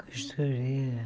Costureira.